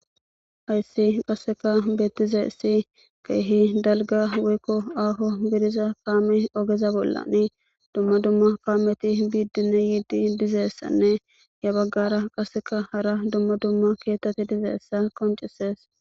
Hayssi qasseka beettiza issi keehi dalga woykko afo gidiza kaame ogeza bollani dumma dumma kaameti biiddine yiidi dizeessanne ya baggara qasseka hara dumma dumma keettati dizaeessa qoncisees